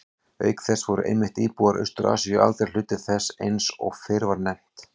Auk þess voru einmitt íbúar Austur-Asíu aldrei hluti þess eins og fyrr var nefnt.